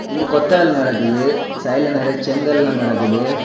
இங்கு கொத்து வேலை நடக்குது சைடுல நிறைய செங்கல்லா கிடக்குது.